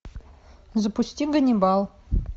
запусти ганнибал